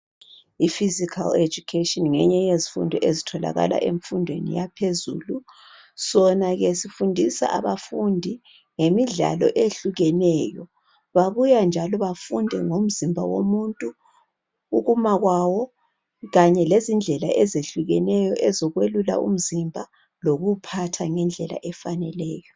Ifizikhali education ngeyinye yezifundo ezitholakala ezingeni eliphezulu okufundiswa khona abantwa ezokweqa , babuye bafunde futhi ukwelula kanye lokuphatha ngendlela efaneleyo.